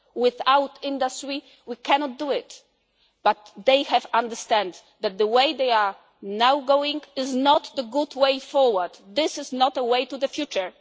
side. Without the industry we cannot do it, but they have understood that the way they are going now is not a good way forward. This is not the way to the